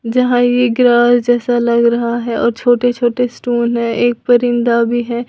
जहां ये ग्रास जैसे लग रहा है और छोटे छोटे स्टोन है और एक परिंदा भी है।